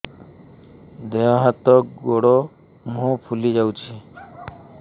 ଦେହ ହାତ ଗୋଡୋ ମୁହଁ ଫୁଲି ଯାଉଛି